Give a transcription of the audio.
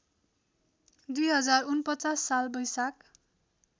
२०४९ साल वैशाख